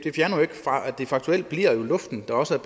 det faktuelt bliver luften der også